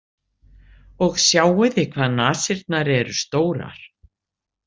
Og sjáiði hvað nasirnar eru stórar